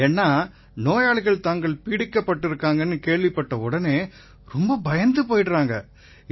ஏன்னா நோயாளிகள் தாங்கள் பீடிக்கப்பட்டிருக்காங்கன்னு கேள்விப்பட்ட உடனேயே பயந்து போயிடறாங்க